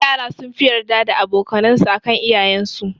Yara sunfi yarda da aboka nan su akan iyayen su